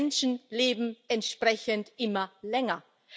Die Menschen leben entsprechend immer länger.